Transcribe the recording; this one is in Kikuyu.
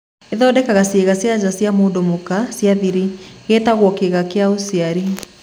Ĩthodekaga ciĩga cia nja cĩa mũndũ mũka cia thiri, gĩtagwo kĩĩga kĩa ũciari